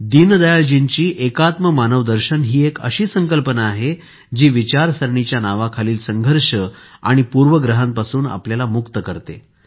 दीनदयाळजींचे एकात्म मानवदर्शन ही एक अशी संकल्पना आहे जी विचारसरणीच्या नावाखालील संघर्ष आणि पूर्वग्रहांपासून आपल्याला मुक्त करते